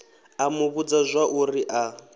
a mu vhudza zwauri a